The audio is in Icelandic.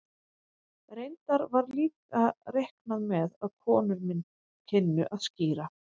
Raunar var líka reiknað með að konur kynnu að skíra.